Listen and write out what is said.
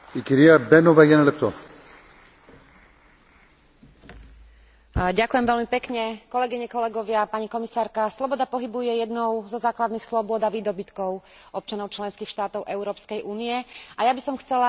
Sloboda pohybu je jednou zo základných slobôd a výdobytkov občanov členských štátov Európskej únie a ja by som chcela za našu frakciu, za frakciu Socialistov a demokratov v Európskom parlamente, podporiť vstup Rumunska a Bulharska do Schengenského priestoru.